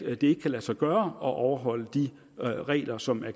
at det ikke kan lade sig gøre at overholde de regler som